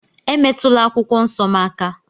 Emetụla akwụkwọ nsọ m aka!